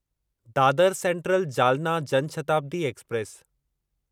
Dadar central Jalna Jan Shatabdi express